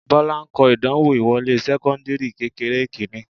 Bọ́lá ń kọ ìdánwò ìwọlé sẹ́kọ́ńdìrì kékeré kìíní